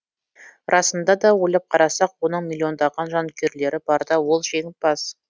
расында да ойлап қарасақ оның миллиондаған жанкүйерлері барда ол жеңімпаз